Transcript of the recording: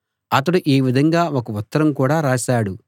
అతడు ఈ విధంగా ఒక ఉత్తరం కూడా రాశాడు